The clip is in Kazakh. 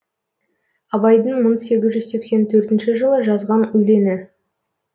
абайдың мың сегіз жүз сексен төртінші жылы жазған өлеңі